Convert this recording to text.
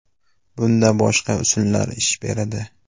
Bunda boshqa usullar ish beradi.